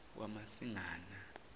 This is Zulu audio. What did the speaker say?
kamasingana